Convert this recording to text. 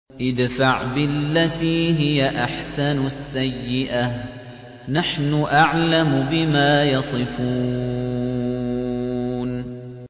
ادْفَعْ بِالَّتِي هِيَ أَحْسَنُ السَّيِّئَةَ ۚ نَحْنُ أَعْلَمُ بِمَا يَصِفُونَ